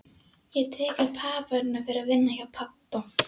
Ég tek upp hamarinn og fer að vinna hjá pabba.